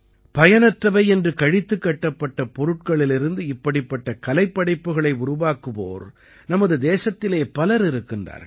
பயனற்றவை என்று கழித்துக் கட்டப்பட்ட பொருட்களிலிருந்து இப்படிப்பட்ட கலைப்படைப்புக்களை உருவாக்குவோர் நமது தேசத்திலே பலர் இருக்கிறார்கள்